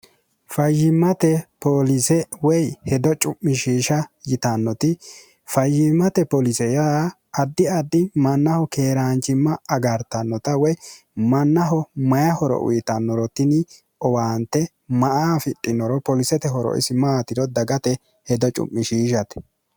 fayyimmate pooliise woy hedo cu'mishiisha yitannoti fayyimmate pooliise yaa addi addi mannaho keeraancimma agartannota woy mannaho mayi horo uyitannorotini owaante ma a afidhinoro poolisete horoisi maatiro dagate hedo cu'mishiishate